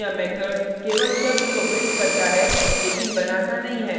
लेकिन यह method केवल शब्द को prints करता है लेकिन बनाता नहीं है